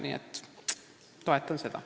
Mina toetan seda.